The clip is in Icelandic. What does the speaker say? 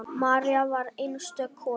María var einstök kona.